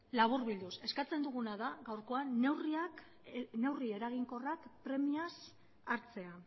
laburbilduz eskatzen duguna da gaurkoan neurri eraginkorrak premiaz hartzea